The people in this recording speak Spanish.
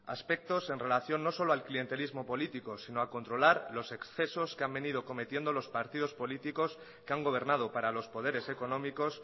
aspectos en relación no solo al clientelismo político sino a controlar los excesos que han venido cometiendo los partidos políticos que han gobernado para los poderes económicos